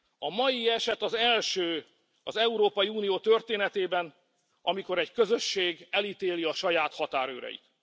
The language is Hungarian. A mai eset az első az Európai Unió történetében, amikor egy közösség elítéli a saját határőreit.